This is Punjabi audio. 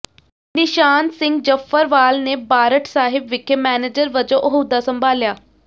ਨਿਸ਼ਾਨ ਸਿੰਘ ਜਫ਼ਰਵਾਲ ਨੇ ਬਾਰਠ ਸਾਹਿਬ ਵਿਖੇ ਮੈਨੇਜਰ ਵਜੋਂ ਅਹੁਦਾ ਸੰਭਾਲਿਆ